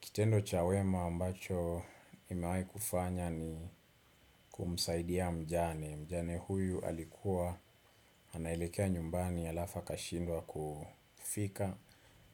Kitendo cha wema ambacho nimewai kufanya ni kumsaidia mjane. Mjane huyu alikuwa anailekea nyumbani alafu akashindwa kufika